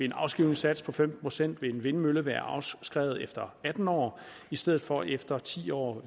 en afskrivningssats på fem procent vil en vindmølle være afskrevet efter atten år i stedet for efter ti år